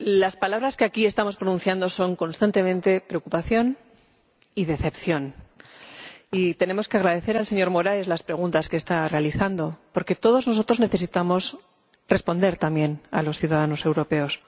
Señora Presidenta, las palabras que aquí estamos pronunciando son constantemente preocupación y decepción. Y tenemos que agradecer al señor Moraes las preguntas que está realizando, porque todos nosotros necesitamos responder también a los ciudadanos europeos.